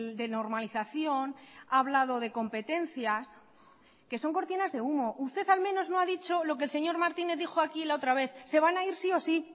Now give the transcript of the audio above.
de normalización ha hablado de competencias que son cortinas de humo usted al menos no ha dicho lo que el señor martínez dijo aquí la otra vez se van a ir sí o sí